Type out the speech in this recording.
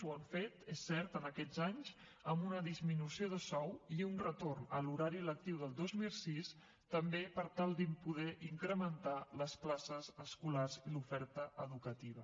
ho han fet és cert en aquests anys amb una disminució de sou i un retorn a l’horari lectiu del dos mil sis també per tal de poder incrementar les places escolars i l’oferta educativa